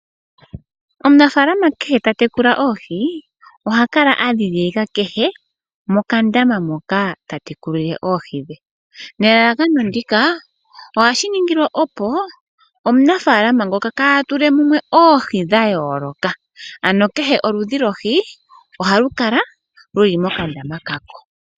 Omunafaalama kehe ta tekula oohi oha kala a dhidhilika kehe mokandama moka ta tekulile oohi dhe nelalakano ndika ohashi ningwa opo omunafaalama ngoka kaa tule mumwe oohi dha yooloka, ano kehe oludhi lwohi ohalu kala lu li mokandama ka ko.